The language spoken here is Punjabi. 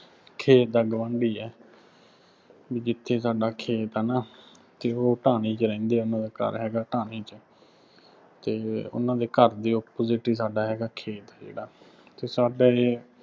ਖੇਤ ਦਾ ਗੁਆਂਢੀ ਆ। ਬਈ ਜਿੱਥੇ ਸਾਡਾ ਖੇਤ ਹੈ ਨਾ ਅਤੇ ਉਹ ਢਾਣੀ ਚ ਰਹਿੰਦੇ ਆ, ਉੇਹਨਾ ਦਾ ਘਰ ਹੈਗਾ ਢਾਣੀ ਚ ਅਤੇ ਉਹਨਾ ਦੇ ਘਰ ਦੇ opposite ਹੀ ਸਾਡਾ ਹੈਗਾ ਖੇਤ ਜਿਹੜਾ ਅਤੇ ਸਾਡਾ ਇਹ